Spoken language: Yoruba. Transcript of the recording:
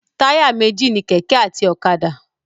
Táyà méjì ni kẹ̀kẹ́ àti ọ̀kadà.